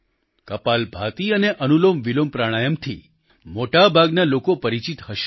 કપાલભાતી અને અનુલોમવિલોમ પ્રાણાયામથી મોટાભાગના લોકો પરિચિત હશે